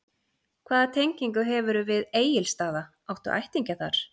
Hvaða tengingu hefurðu við Egilsstaða, áttu ættingja þar?